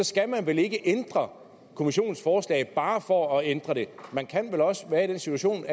skal man vel ikke ændre kommissionens forslag bare for at ændre det man kan vel også være i den situation